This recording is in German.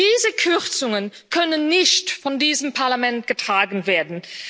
Diese Kürzungen können nicht von diesem Parlament getragen werden.